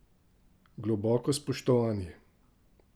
Globoko spoštovanje!